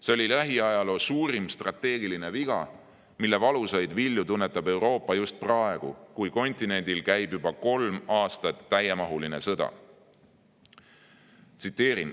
See oli lähiajaloo suurim strateegiline viga, mille valusaid vilju tunnetab Euroopa just praegu, kui kontinendil käib juba kolm aastat täiemahuline sõda.